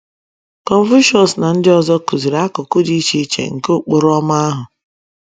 Confucius na ndị ọzọ kụziri akụkụ dị iche iche nke Ụkpụrụ Ọma ahụ